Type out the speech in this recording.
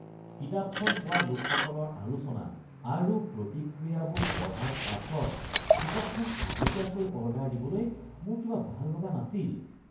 কিতাপখন পোৱা লোকসকলৰ আলোচনা আৰু প্ৰতিক্ৰিয়াবোৰ পঢ়াৰ পাছত কিতাপখন আগতীয়াকৈ অৰ্ডাৰ দিবলৈ মোৰ কিবা ভাল লগা নাছিল।